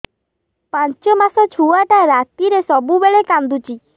ପାଞ୍ଚ ମାସ ଛୁଆଟା ରାତିରେ ସବୁବେଳେ କାନ୍ଦୁଚି